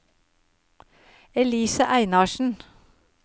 Elise Einarsen